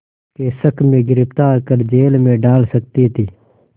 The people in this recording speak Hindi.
के शक में गिरफ़्तार कर जेल में डाल सकती थी